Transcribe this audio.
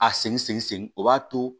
A segin segin o b'a to